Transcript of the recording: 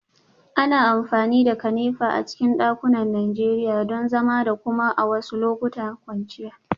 Ana amfani da kanefa a cikin dakunan Najeriya don zama da kuma a wasu lokutan kwanciya